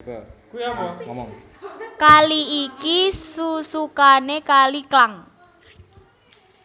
Kali iki susukané Kali Klang